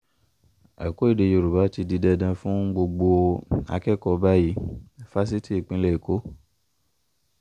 ẹ̀kọ́ èdè yorùbá ti di dandan fún gbogbo akẹ́kọ̀ọ́ báyìí- fásitì ìpínlẹ̀ èkó